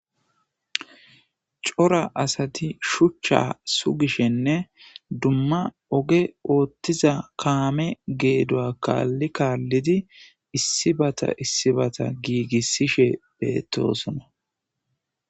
Cora Asati shucha sugishene duma oge othiza kame geduwa kali kalidi isibata isibata gigisishe betosona.